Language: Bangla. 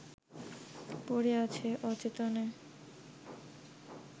পড়ে আছে অচেতনে